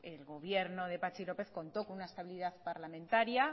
el gobierno de patxi lópez contó con